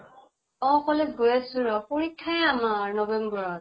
অ college গৈ আছো ৰʼ, পৰীক্ষাই আমাৰ november ত